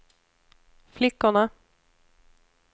flickorna